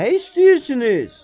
Nə istəyirsiniz?